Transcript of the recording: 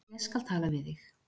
Ég skal tala við þig.